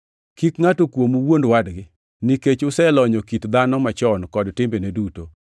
Kik ngʼato kuomu wuond wadgi, nikech uselonyo kit dhano machon kod timbene duto,